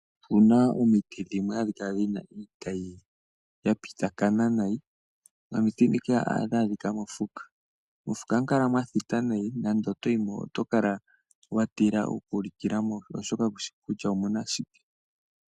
Opuna omiti dhimwe oha kala dhina iitayi ya pitakana nayi , nomiti dhika ohadhi adhika mofuka . Mofuka ohamu kala mwa thita nayi , nando otoyi mo , oto kala wa tila oku likila mo oshoka kushi kutya omuna shike .